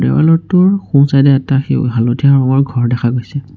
দেৱালৰটোৰ সোঁ-চাইড এ এটা সেউ হালধীয়া ৰঙৰ ঘৰ দেখা গৈছে।